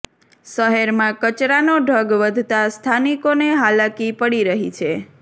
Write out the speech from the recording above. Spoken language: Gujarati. શહેરમાં કચરાનો ઢગ વધતા સ્થાનિકોને હાલાકી પડી રહી છે